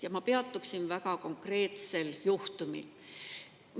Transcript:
Ja ma peatuksin väga konkreetsel juhtumil.